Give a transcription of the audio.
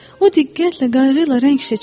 O diqqətlə, qayğı ilə rəng seçirdi.